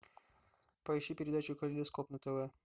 поищи передачу калейдоскоп на тв